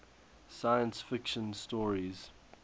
science fiction stories